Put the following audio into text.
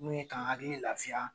N'o ye k'an hakilii lafiya